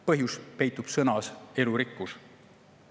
Põhjus peitub sõnas "elurikkus".